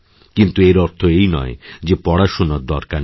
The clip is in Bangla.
কিন্তুএর অর্থ এই নয় যে পড়াশোনার দরকার নেই